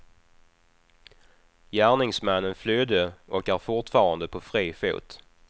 Gärningsmannen flydde och är fortfarande på fri fot.